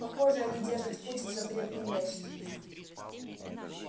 похоже они держат путь в запретный лес